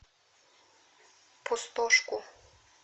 пустошку